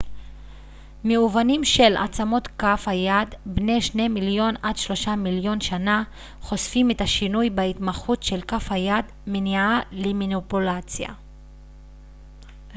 מאובנים של עצמות כף היד בני שני מיליון עד שלושה מיליון שנה חושפים את השינוי בהתמחות של כף היד מניעה למניפולציה